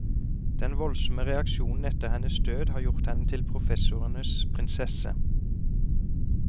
Den voldsomme reaksjonen etter hennes død har gjort henne til professorenes prinsesse.